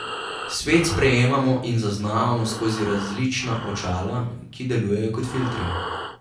Svet sprejemamo in zaznavamo skozi različna očala, ki delujejo kot filtri.